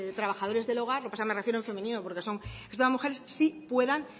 trabajadores del hogar lo que pasa me refiero en femenino porque son mujeres sí puedan